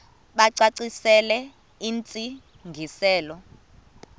bacacisele intsi ngiselo